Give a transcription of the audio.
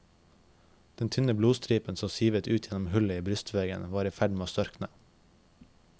Den tynne blodstripen som sivet ut gjennom hullet i brystveggen var i ferd med å størkne.